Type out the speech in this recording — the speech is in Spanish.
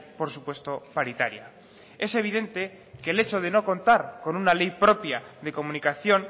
por supuesto paritaria es evidente que el hecho de no contar con una ley propia de comunicación